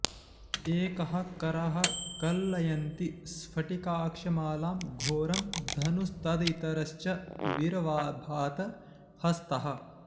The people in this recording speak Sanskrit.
एकः करः कलयंति स्फटिकाक्षमालां घोरं धनुस्तदितरश्च विर्भात हस्तः